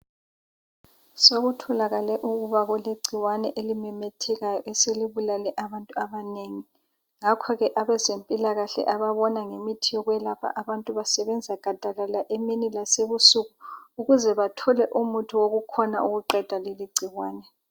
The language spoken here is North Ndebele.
Sokutholakale ukuba kulegcikwane elimemethekayo eselibulale abantu abanengi. Ngakho ke abazempilakahle ababona ngemithi yokwelapha abantu basebenza gadalala emini lasebusuku ukuze bathole umuthi wokukhona ukuqeda leligcikwane.